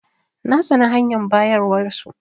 Na tsane hanyar bayarwar su.